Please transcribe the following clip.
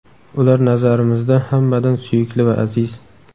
Ular nazarimizda hammadan suyukli va aziz.